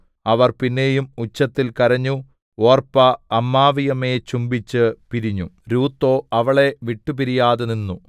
അവർ പിന്നെയും ഉച്ചത്തിൽ കരഞ്ഞു ഒർപ്പാ അമ്മാവിയമ്മയെ ചുംബിച്ചു പിരിഞ്ഞു രൂത്തോ അവളെ വിട്ടുപിരിയാതെനിന്നു